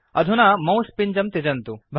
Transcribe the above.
अधुना मौस् पिञ्जं त्यजन्तु